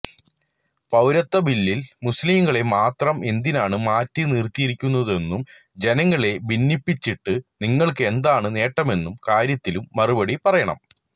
പൌരത്വ ബില്ലില് മുസ്ലിംകളെ മാത്രം എന്തിനാണ് മാറ്റിനിര്ത്തിയിരിക്കുന്നതെന്നും ജനങ്ങളെ ഭിന്നിപ്പിച്ചിട്ട് നിങ്ങള്ക്ക് എന്താണ് നേട്ടമെന്ന കാര്യത്തിനും മറുപടി പറയണം